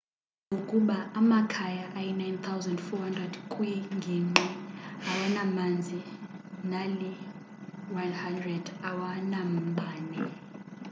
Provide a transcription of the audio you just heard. kuchazwe ukuba amakhaya ayi 9400 kwingingqi awanamanzi nali 100 awanambane